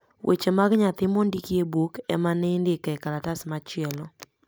eche mag nyathi mondiki e buk ema n indiko e kalatas machielo